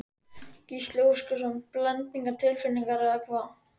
Gísli Óskarsson: Blendnar tilfinningar eða hvað?